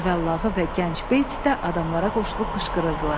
Cüvəllağı və gənc Beys də adamlara qoşulub qışqırırdılar.